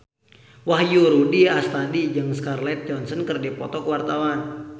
Wahyu Rudi Astadi jeung Scarlett Johansson keur dipoto ku wartawan